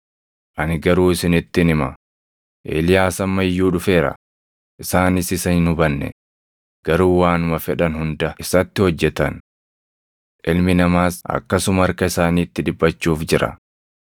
Ani garuu isinittin hima; Eeliyaas amma iyyuu dhufeera; isaanis isa hin hubanne; garuu waanuma fedhan hunda isatti hojjetan. Ilmi Namaas akkasuma harka isaaniitti dhiphachuuf jira.”